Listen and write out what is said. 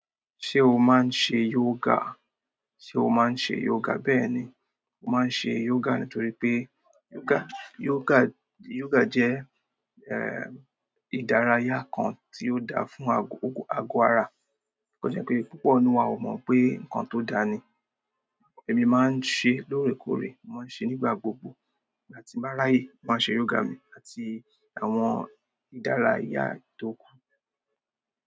Ṣé o máa ń ṣe yoga? Sé o máa ń ṣe yoga? Bẹ́ẹ̀ni, mo máa ń ṣe yoga nítorí pé yoga, yoga, yoga jẹ́ ìdárayá kan tí ó dáa fún ago, ago ara. Kò jẹ́ pé púpọ̀ nínú wa ò mọ pé nǹkan tó dáa ni. Èmi máa ń ṣe lóòrèkóòrè, mo máa ń ṣe nígbà gbogbo. Ìgbà tí mo bá ráyè, mo máa ṣe yoga mi àti àwọn ìdárayá tó kù.